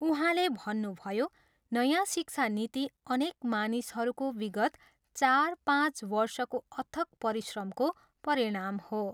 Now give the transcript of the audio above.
उहाँले भन्नुभयो, नयाँ शिक्षा नीति अनेक मानिसहरूको विगत चार, पाँच वर्षको अथक परिश्रमको परिणाम हो।